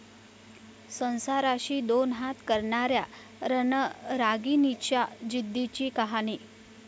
संसाराशी 'दोन हात' करणाऱ्या रणरागिणीच्या जिद्दीची कहाणी